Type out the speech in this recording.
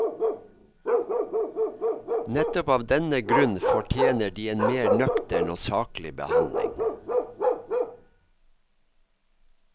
Nettopp av denne grunn fortjener de en mer nøktern og saklig behandling.